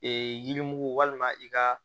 Ee yirimugu walima i ka